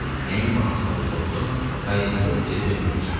Nəyin bahasına olursa olsun, qayğısız geri dönməyəcəkdi.